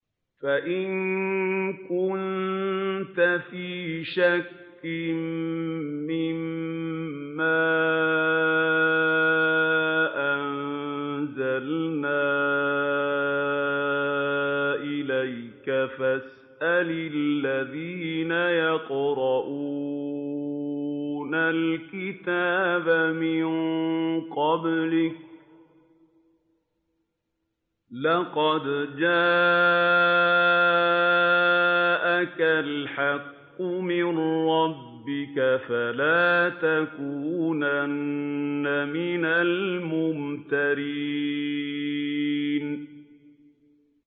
فَإِن كُنتَ فِي شَكٍّ مِّمَّا أَنزَلْنَا إِلَيْكَ فَاسْأَلِ الَّذِينَ يَقْرَءُونَ الْكِتَابَ مِن قَبْلِكَ ۚ لَقَدْ جَاءَكَ الْحَقُّ مِن رَّبِّكَ فَلَا تَكُونَنَّ مِنَ الْمُمْتَرِينَ